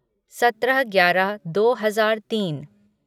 सत्रह ग्यारह दो हजार तीन